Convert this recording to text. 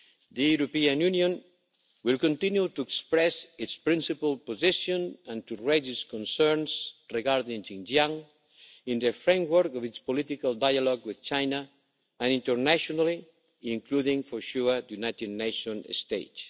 The European Union will continue to express its principal position and to raise its concerns regarding Xinjiang in the framework of its political dialogue with China and internationally, including for sure on the United Nations stage.